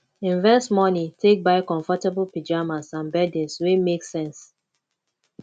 invest money take buy comfortable pyjamas and beddings wey make sense